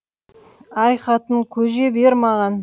әй қатын көже бер маған